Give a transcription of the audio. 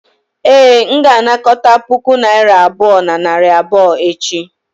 ee, m ga-anakọta puku naira abụọ na narị abụọ echi